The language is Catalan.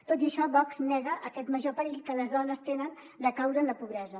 tot i això vox nega aquest major perill que les dones tenen de caure en la pobresa